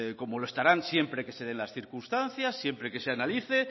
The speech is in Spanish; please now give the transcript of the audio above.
como lo estarán siempre que se den las circunstancias siempre que se analice